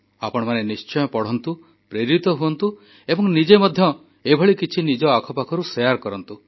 ଆପଣମାନେ ନିଶ୍ଚୟ ପଢ଼ନ୍ତୁ ପ୍ରେରିତ ହୁଅନ୍ତୁ ଏବଂ ନିଜେ ମଧ୍ୟ ଏଭଳି କିଛି ନିଜ ଆଖ ପାଖରୁ ଶେୟାର କରନ୍ତୁ